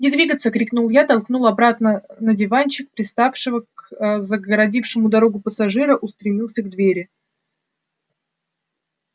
не двигаться крикнул я толкнул обратно на диванчик привставшего к загородившего дорогу пассажира устремился к двери